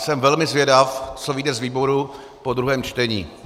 Jsem velmi zvědav, co vyjde z výboru po druhém čtení.